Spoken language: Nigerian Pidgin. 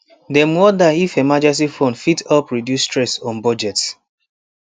dem wonder if emergency fund fit help reduce stress on budget